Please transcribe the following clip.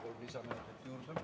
Palun kolm lisaminutit juurde.